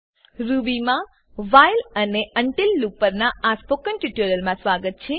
Ruby Ruby માં while while અને until until loop પરનાં ટ્યુટોરીયલમાં સ્વાગત છે